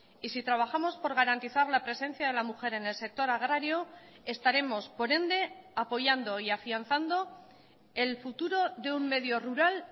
y si trabajamos por garantizar la presencia de la mujer en el sector agrario estaremos por ende apoyando y afianzando el futuro de un medio rural